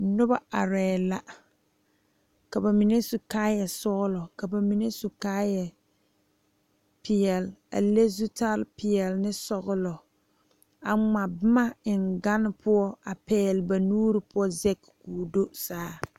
Noba are la ka bamine su kaaya sɔglɔ ka bamine su kaaya peɛle a le zutal peɛle ne sɔglɔ a ŋma boma eŋ gane poɔ a pegle ba nuure poɔ zage ko'o do saa.